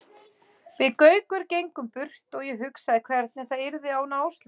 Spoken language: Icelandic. Við Gaukur gengum burt og ég hugsaði hvernig það yrði án Áslaugar.